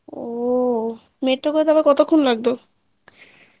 ও করতে আবার কতক্ষন লাগতো